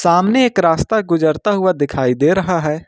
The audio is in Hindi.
सामने एक रास्ता गुजरता हुआ दिखाई दे रहा है।